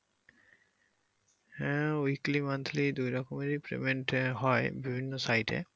হ্যা দুই রকমেরই payment ই হয় বিভিন্ন payment